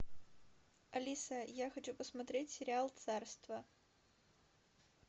алиса я хочу посмотреть сериал царство